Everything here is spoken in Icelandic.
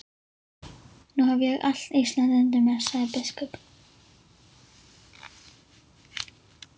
Nú hef ég allt Ísland undir mér, sagði biskup.